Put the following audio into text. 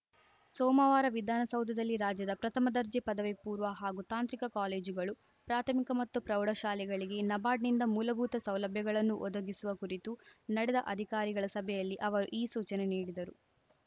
ಸೋಮವಾರ ವಿಧಾನಸೌಧದಲ್ಲಿ ರಾಜ್ಯದ ಪ್ರಥಮ ದರ್ಜೆ ಪದವಿ ಪೂರ್ವ ಹಾಗೂ ತಾಂತ್ರಿಕ ಕಾಲೇಜುಗಳು ಪ್ರಾಥಮಿಕ ಮತ್ತು ಪ್ರೌಢಶಾಲೆಗಳಿಗೆ ನಬಾರ್ಡ್‌ನಿಂದ ಮೂಲಭೂತ ಸೌಲಭ್ಯಗಳನ್ನು ಒದಗಿಸುವ ಕುರಿತು ನಡೆದ ಅಧಿಕಾರಿಗಳ ಸಭೆಯಲ್ಲಿ ಅವರು ಈ ಸೂಚನೆ ನೀಡಿದರು